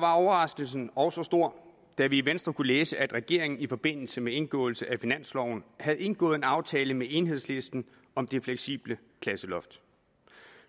var overraskelsen også stor da vi i venstre kunne læse at regeringen i forbindelse med indgåelse af finansloven havde indgået en aftale med enhedslisten om det fleksible klasseloft